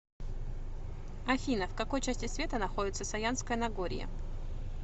афина в какой части света находится саянское нагорье